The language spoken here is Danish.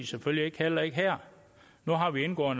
selvfølgelig heller ikke her nu har vi indgået